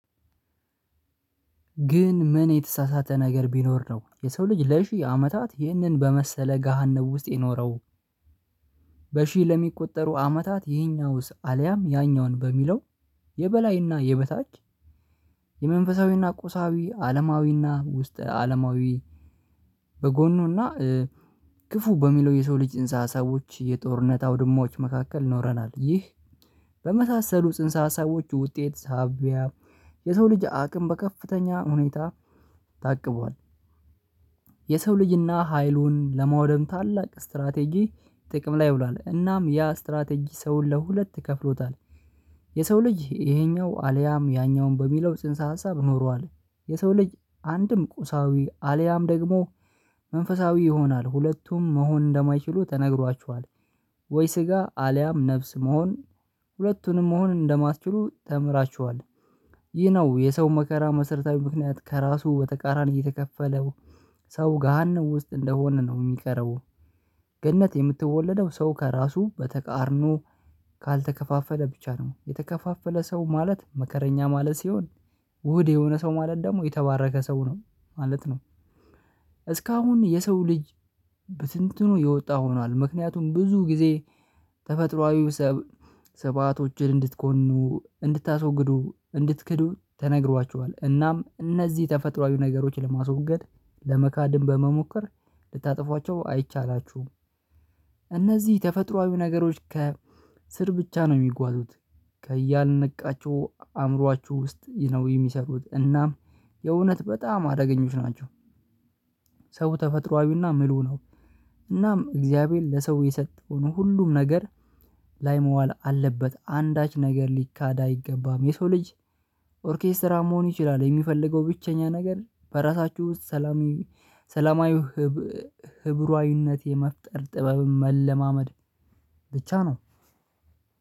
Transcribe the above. ግን ምን የተሳሳተ ነገር ቢኖር ነው የሰው ልጅ ለሺህ አመታት ይህንን በመሰለ ገሃነብ ውስጥ የኖረው። በሺህ ለሚቆጠሩ አመታት ይሄኛውስ አልያም ያኛውን በሚለው። የበላይና የበታች። የመንፈሳዊና ቁሳዊ አለማዊና ውስጥ አለማዊ። በጎኑና ክፉ በሚለው የሰው ልጅ ጽንሰ ሀሳቦች የጦርነት አውድማዎች መካከል ኖረናል። ይህ በመሳሰሉ ጽንሰ ሀሳቦች ውጤት ሳቢያ የሰው ልጅ አቅም በከፍተኛ ሁኔታ ታቅቧል። የሰው ልጅና ሀይሉን ለማውደም ታላቅ ስትራቴጂ ጥቅም ላይ ውሏል። እናም ያ ስትራቴጂ ሰውን ለሁለት ከፍሎታል። የሰው ልጅ ይሄኛው አልያም ያኛውን በሚለው ጽንሰ ሀሳብ ኖሯል። የሰው ልጅ አንድም ቁሳዊ አልያም ደግሞ መንፈሳዊ ይሆናል ሁለቱም መሆን እንደማይችሉ ተነግሯችዋል። ወይ ስጋ አልያም ነፍስ መሆን ሁለቱንም መሆን እንደማትችሉ ተምራችኋል። ይህ ነው የሰው መከራ መሰረታዊ ምክንያት ከራሱ በተቃራኒ የተከፈለው ሰው ገሃነም ውስጥ እንደሆነ ነው የሚቀረው። ገነት የምትወለደው ሰው ከራሱ በተቃርኖ። ካልተከፋፈለ ብቻ ነው የተከፋፈለ ሰው ማለት መከረኛ ማለት ሲሆን። ውህድ የሆነ ሰው ማለት ደግሞ የተባረከ ሰው ነው ማለት ነው። እስካሁን የሰው ልጅ ብትንትኑ የወጣ ሆኗል። ምክንያቱም ብዙ ጊዜ ሰብ ስብሃቶችን እንድትኮኑ እንድታስወግዱ እንድትክዱ ተነግሯቸዋል። እናም እነዚህ ተፈጥሮአዊ ነገሮችን ለማስወገድ ለመካድም በመሞከር ልታጠፏችሁ አይቻላችሁም። እነዚህ ተፈጥሮአዊ ነገሮች ከ ስር ብቻ ነው የሚጓዙት። ከያልነቃቸው አእምሮአችሁ ውስጥ ነው የሚሰሩት እናም የእውነት በጣም አደገኞች ናቸው። ሰው ተፈጥሮአዊና ምሉእ ነው። እናም እግዚአብሔር ለሰው የሰጠውን ሁሉም ነገር ላይ መዋል አለበት አንዳች ነገር ሊካድ አይገባም። የሰው ልጅ ኦርኬስትራ መሆን ይችላል የሚፈልገው ብቸኛ ነገር በራሳችሁ ውስጥ ሰላማዊ ሰላማዊ ህብሯዊነት የመፍጠር ጥበብን መለማመድ። ብቻ ነው።